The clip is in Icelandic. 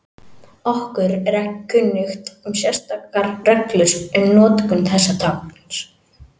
Okkur er ekki kunnugt um sérstakar reglur um notkun þessa tákns.